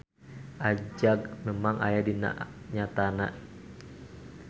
Ajag memang aya dina nyatana.